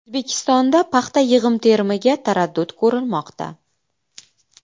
O‘zbekistonda paxta yig‘im-terimiga taraddud ko‘rilmoqda.